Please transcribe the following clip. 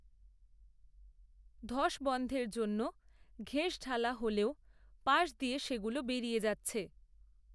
ধস বন‌ধের জন্য, ঘেঁস ঢালা হলেও, পাশ দিয়ে সেগুলো বেরিয়ে যাচ্ছে